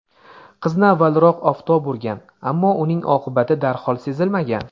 Qizni avvalroq oftob urgan, ammo uning oqibati darhol sezilmagan.